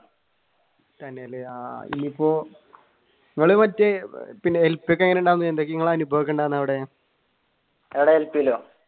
തന്നെയല്ലേ ആഹ് ഇനിയിപ്പോ നിങ്ങൾ മറ്റേ അവിടെ